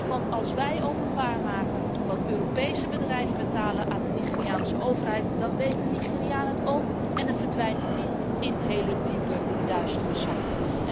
Want als wij openbaar maken wat Europese bedrijven betalen aan de Nigeriaanse overheid, dan weet de Nigeriaan het ook, en dan verdwijnt het geld niet in hele diepe, duistere zakken.